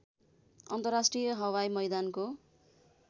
अन्तर्राष्ट्रिय हवाई मैदानको